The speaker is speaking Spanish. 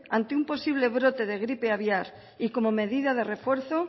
ante un posible brote de gripe aviar y como medida de refuerzo